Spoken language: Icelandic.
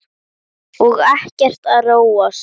Og ekkert að róast?